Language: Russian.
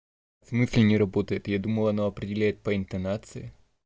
в смысле не работает я думал она определяет по интонации